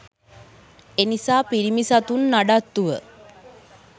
එනිසා පිරිමි සතුන් නඩත්තුව